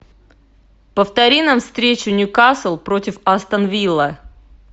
повтори нам встречу ньюкасл против астон вилла